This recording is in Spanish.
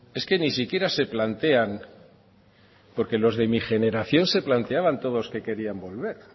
es que ni siquiera se plantean porque los de mi generación se planteaban todos que querían volver